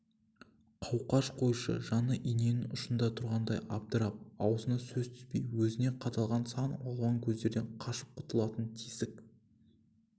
қауқаш койшы жаны иненің ұшында тұрғандай абдырап аузына сөз түспей өзіне қадалған сан алуан көздерден қашып құтылатын тесік